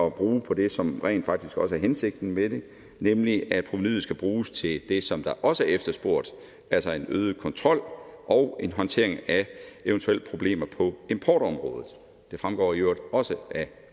at bruge på det som rent faktisk også er hensigten med det nemlig at provenuet skal bruges til det som der også er efterspurgt altså øget kontrol og håndtering af eventuelle problemer på importområdet det fremgår i øvrigt også